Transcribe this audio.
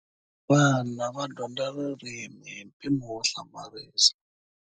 Vana va dyondza ririmi hi mpimo wo hlamarisa.